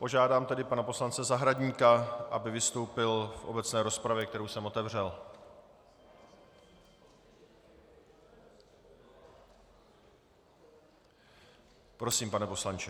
Požádám tedy pana poslance Zahradníka, aby vystoupil v obecné rozpravě, kterou jsem otevřel. Prosím, pane poslanče.